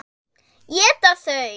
Éta þau?